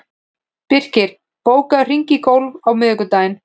Birkir, bókaðu hring í golf á miðvikudaginn.